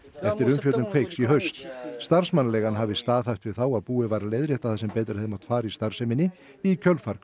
eftir umfjöllun Kveiks í haust starfsmannaleigan hafi staðhæft við þá að búið væri að leiðrétta það sem betur hefði mátt fara í starfseminni í kjölfar